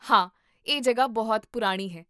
ਹਾਂ, ਇਹ ਜਗ੍ਹਾ ਬਹੁਤ ਪੁਰਾਣੀ ਹੈ